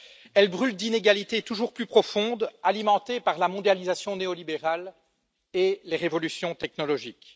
Elle brûle d'inégalités toujours plus profondes, alimentées par la mondialisation néolibérale et les révolutions technologiques.